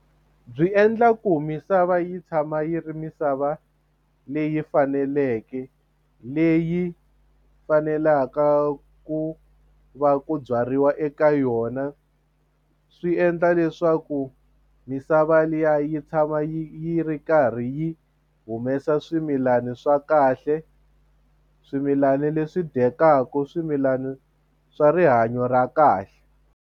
Byi endla ku misava yi tshama yi ri misava leyi faneleke leyi fanelaka ku va ku byariwa eka yona swi endla leswaku misava liya yi tshama yi ri karhi yi humesa swimilani swa kahle swimilani leswi dyekaku swimilani swa rihanyo ra kahle.